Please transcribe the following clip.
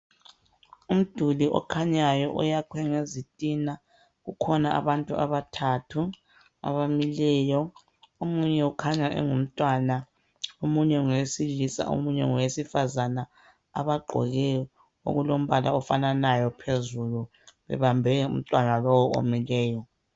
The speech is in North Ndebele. Umduli okhanyayo oyakhwe ngezitina kukhona abantu abathathu abamileyo omunye ukhanya engumntwana omunye ngowesilisa omunye ngowesifazana abagqoke okulombala ofananayo phezulu bebambe umntwana lowu omileyo.